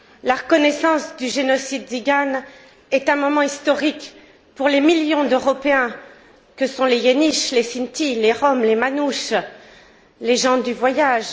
La reconnaissance du génocide tsigane est un moment historique pour les millions d'Européens que sont les Yéniches, les Sintis, les Roms, les Manouches, les gens du voyage.